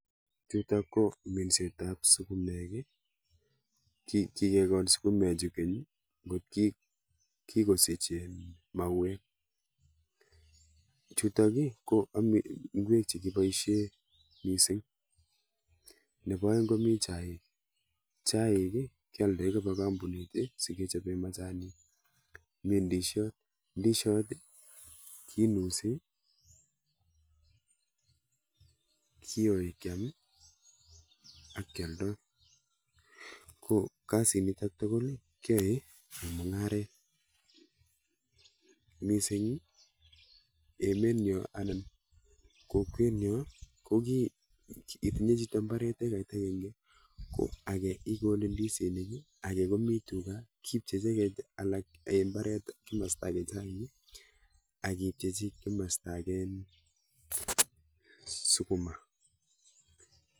Chutok ko minsetap sukumek i kikekol sukumechutok keny nkot kikosich um mauek. Chutok i ko ng'wek chekiboishe mising. nepo oeng komi chaik. Chaik kealdoi kopa kampunit sokechope majanik. Mi ndishot. Ndishot kenusi, kiyoi kyam, akealdoi. Ko, kasinitok tugukl keyoe mung'aret. Mising emenyo anan kokwenyo itinye chito mbaret ekait akenge ko ake ikole ndisinik, ake komi tuga mbaret kimasta ake chaik akipchechi kimasta ake um sukuma.